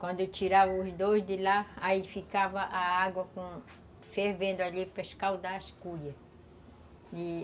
Quando eu tirava os dois de lá, aí ficava a água com... fervendo ali para escaldar as cuias, e